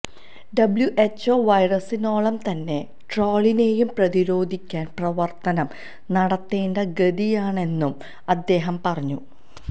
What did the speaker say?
WHO വൈറസിനോളം തന്നെ ട്രോളിനെയും പ്രതിരോധിക്കാൻ പ്രവർത്തനം നടത്തേണ്ട ഗതിയാണെന്നും അദ്ദേഹം പറഞ്ഞു